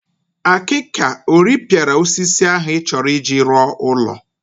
Akịka o rịpịara osisi ahụ ị chọrọ iji rọ ụlọ?